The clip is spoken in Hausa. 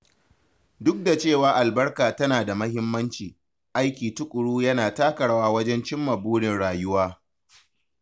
Duk da cewa albarka tana da mahimmanci, aiki tuƙuru yana taka rawa wajen cimma burin rayuwa.